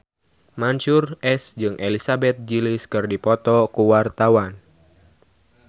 Mansyur S jeung Elizabeth Gillies keur dipoto ku wartawan